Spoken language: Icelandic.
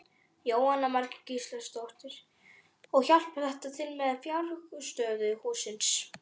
Jóhanna Margrét Gísladóttir: Og hjálpar þetta til með fjárhagsstöðu hússins?